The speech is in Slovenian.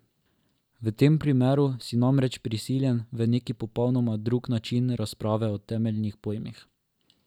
V tem primeru si namreč prisiljen v neki popolnoma drug način razprave o temeljnih pojmih.